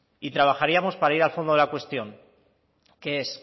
y trabajaríamos para ir al fondo de la cuestión que es